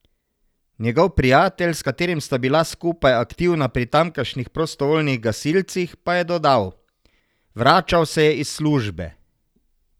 Njegov prijatelj, s katerim sta bila skupaj aktivna pri tamkajšnjih prostovoljnih gasilcih, pa je dodal: "Vračal se je iz službe.